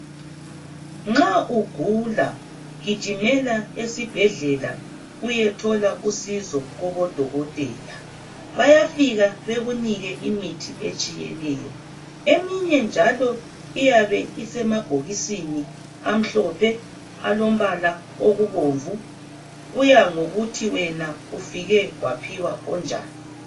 Nxa ugula gijimela esibhedlela uyethola usizo kobodokotela. Bayafika bekunike imithi etshiyeneyo eminye njalo iyabe isemabhokisini amhlophe alombala olokubomvu. Kuya ngokuthi wena ufike waphiwa onjani.